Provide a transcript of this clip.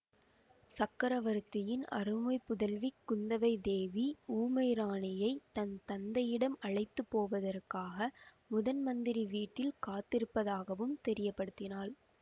சக்கரவர்த்தியின் அருமைப் புதல்வி குந்தவை தேவி ஊமை ராணியைத் தன் தந்தையிடம் அழைத்து போவதற்காக முதன்மந்திரி வீட்டில் காத்திருப்பதாகவும் தெரியப்படுத்தினாள்